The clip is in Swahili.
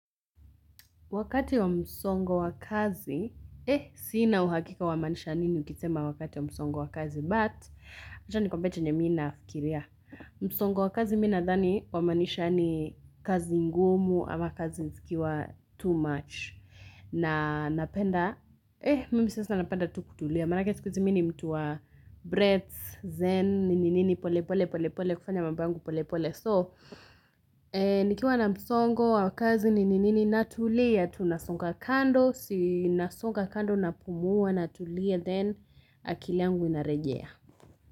Wakati wa msongo wa kazi, sina uhakika wamaanisha nini ukisema wakati wa msongo wa kazi, but, acha nikwambie chenye mim nafikiria. Msongo wa kazi mi nadhani, wamaanisha ni kazi ngumu ama kazi zikiwa too much. Na napenda, mimi sasa napenda tu kutulia. Maanake siku hizi mi ni mtu wa breaths, zen, nininini pole pole pole pole, kufanya mambo yangu pole pole. So, nikiwa na msongo wa kazi nini nini natulia, tunasonga kando, si nasonga kando napumua, natulia, then akili yangu inarejea.